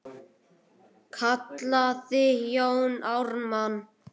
kallaði Jón Ármann.